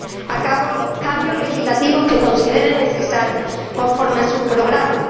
a cabo los cambios legislativos que considere necesario, conforme a su programa.